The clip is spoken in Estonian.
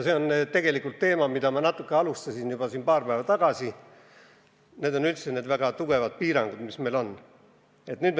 See on tegelikult teema, mille käsitlemist ma alustasin siin juba paar päeva tagasi – need on need väga tugevad piirangud, mis meil on kehtestatud.